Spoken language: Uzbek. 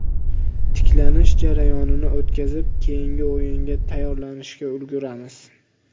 Tiklanish jarayonini o‘tkazib, keyingi o‘yinga tayyorlanishga ulguramiz.